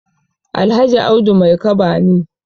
Alhaji Audu Maikaba ne.